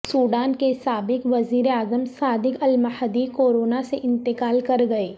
Sudan کے سابق وزیراعظم صادق المہدی کورونا سے انتقال کر گئے